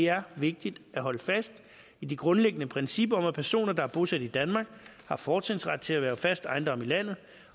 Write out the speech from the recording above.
er vigtigt at holde fast i det grundlæggende princip om at personer der er bosat i danmark har fortrinsret til at erhverve fast ejendom i landet